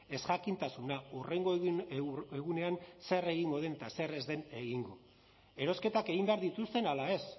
ezjakintasuna hurrengo egunean zer egingo den eta zer ez den egingo erosketak egin behar dituzten ala ez